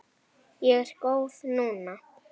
Ég er góð núna.